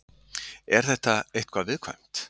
Er þetta eitthvað viðkvæmt?